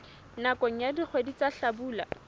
nakong ya dikgwedi tsa hlabula